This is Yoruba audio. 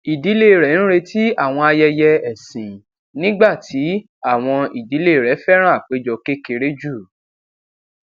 ìdílé rè ń retí àwọn ayẹyẹ ẹsìn nígbà tí àwọn ìdílé rè féràn àpéjọ kékeré jù